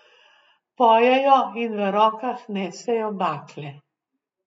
Pojejo in v rokah nesejo bakle.